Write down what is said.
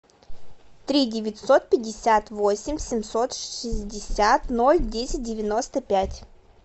три девятьсот пятьдесят восемь семьсот шестьдесят ноль десять девяносто пять